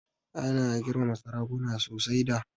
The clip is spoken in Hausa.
Ana girmama sarakuna sosai da.